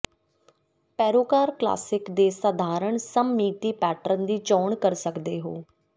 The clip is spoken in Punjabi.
ਪੈਰੋਕਾਰ ਕਲਾਸਿਕ ਦੇ ਸਧਾਰਨ ਸਮਮਿਤੀ ਪੈਟਰਨ ਦੀ ਚੋਣ ਕਰ ਸਕਦੇ ਹੋ